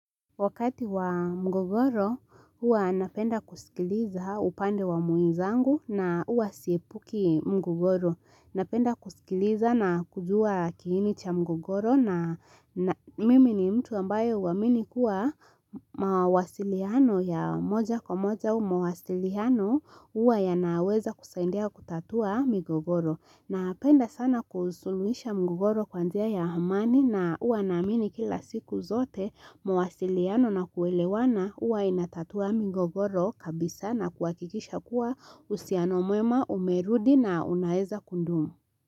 Wakati wa mgogoro, huwa napenda kusikiliza upande wa muinzangu na huwa siepuki mgogoro. Napenda kusikiliza na kujua kiini cha mgogoro na mimi ni mtu ambayo uaminikua mawasiliano ya moja kwa moja au mawasiliano huwa yanaweza kusahindia kutatua migogoro. Napenda sana kusuluhisha mgogoro kwa njia ya hamani na uwa naamini kila siku zote mawasiliano na kuelewana uwa inatatua migogoro kabisa na kuhakikisha kuwa usiano mwema umerudi na unaeza kundumu.